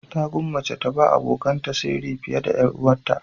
Ta gwammace ta ba abokanta sirri fiye da 'yar uwarta.